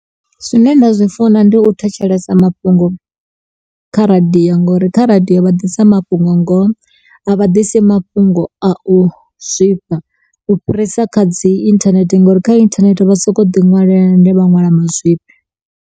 Zwine nda zwi funa ndi u thetshelesa mafhungo kha radio ngauri kha radio vha ḓisa mafhungo ngoho, a vha ḓisi mafhungo a u zwifha. U fhirisa kha dzi internet ngauri kha internet vha sokou ḓi ṅwalela, ende vha nwala mazwifhi.